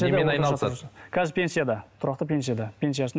қазір пенсияда тұрақты пенсияда пенсиясын